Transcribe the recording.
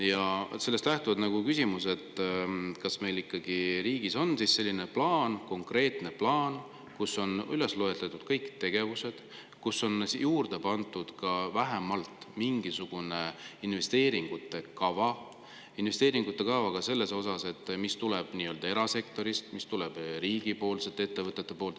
Ja sellest lähtuvalt on küsimus, et kas meil riigis on olemas selline plaan, konkreetne plaan, kus on üles loetletud kõik tegevused, kuhu on juurde pandud vähemalt mingisugunegi investeeringute kava, investeeringute kava ka selle kohta, et mis tuleb erasektorist, mis tuleb riigi ettevõtete poolt.